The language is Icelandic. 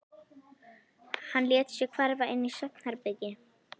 Hann lét sig hverfa inn í svefnherbergi.